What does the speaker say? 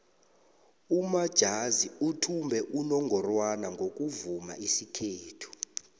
umajazi uthumbe unongorwana ngokuvuma isikhethu